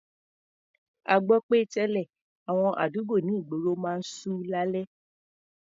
A gbọ́ pé tẹ́lẹ̀, àwọn àdúgbò ní ìgboro máa ń ṣú lálẹ́.